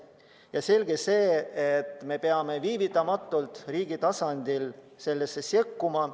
On selge, et me peame viivitamatult riigi tasandil sekkuma.